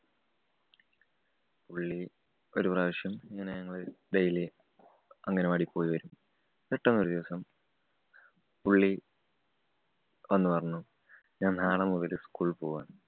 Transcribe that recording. പുള്ളി ഒരു പ്രാവശ്യം ഇങ്ങനെ ഞങ്ങള് daily അംഗനവാടി പോയി വരും. പെട്ടന്ന് ഒരു ദിവസം പുള്ളി വന്നു പറഞ്ഞു ഞാന്‍ നാളെ മുതല് school ല്‍ പോവാണ്.